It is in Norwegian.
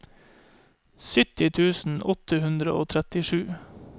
sytti tusen åtte hundre og trettisju